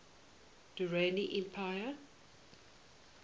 durrani empire